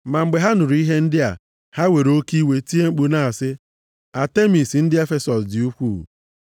Ma mgbe ha nụrụ ihe ndị a, ha were oke iwe tie mkpu na-asị, “Atemis ndị Efesọs dị ukwuu!”